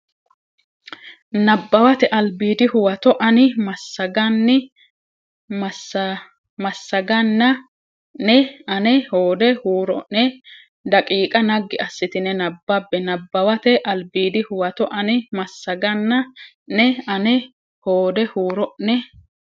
Nabbawate Albiidi Huwato ani massaganna ne ane hoode huuro ne daqiiqa naggi assitine nabbabbe Nabbawate Albiidi Huwato ani massaganna ne ane hoode huuro ne.